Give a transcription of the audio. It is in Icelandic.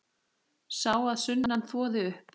Sá að sunnan þvoði upp.